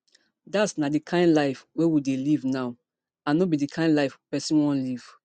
dat na di kain life we dey live now and no be di kain live pesin wan live